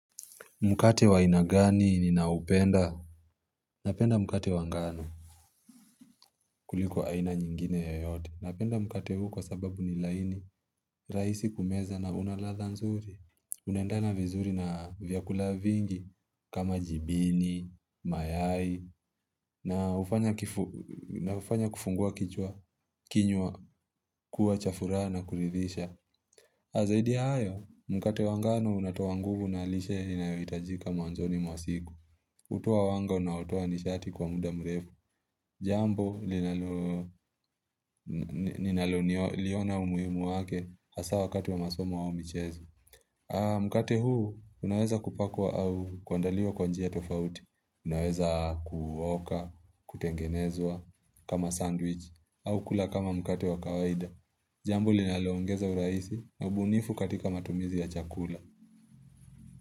Mkate wa aina gani ninaupenda? Napenda mkate wa ngano. Kuliko aina nyingine yoyote. Napenda mkate huu kwa sababu ni laini. Mkate wa aina gani ninaupenda? Unaendana vizuri na vyakula vingi kama jibini, mayai, na hufanya kufungua kichwa kinywa kuwa cha furaha na kuridhisha. Na zaidi hayo, mkate wa ngano unatoa nguvu na lishe inayohitajika mwanzoni mwa siku. Hutoa wango unaoto nidhati kwa muda mrefu. Jambo, ninalo liona umuimu wake hasa wakati wa masomu wao michezu. Mkate huu, unaweza kupakwa au kuandaliwa kwa njia ya tofauti. Unaweza kuuoka, kutengenezwa kama sandwich. Au kula kama mkate wa kawaida. Jambo, linaloongeza urahisi na ubunifu katika matumizi ya chakula.